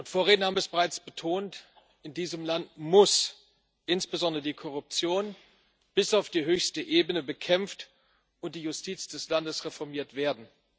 Vorredner haben es bereits betont In diesem Land muss insbesondere die Korruption bis auf die höchste Ebene bekämpft und die Justiz des Landes reformiert werden.